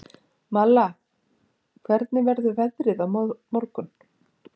Malla, hvernig verður veðrið á morgun?